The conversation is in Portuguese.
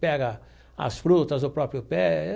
pega as frutas do próprio pé.